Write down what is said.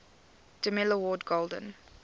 demille award golden